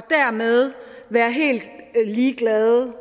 dermed være helt ligeglade med